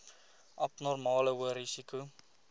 abnormale hoë risiko